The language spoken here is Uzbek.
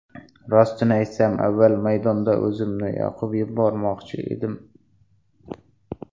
Rostini aytsam, avval maydonda o‘zimni yoqib yubormoqchi edim.